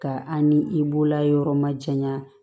Ka an ni i bolola yɔrɔ ma janya